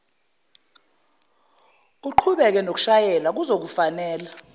uqhubeke nokushayela kuzokufanela